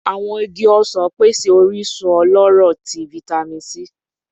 Awọn igi osan pese orisun ọlọrọ ti Vitamin C